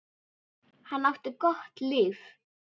Hann átti gott líf.